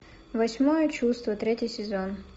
восьмое чувство третий сезон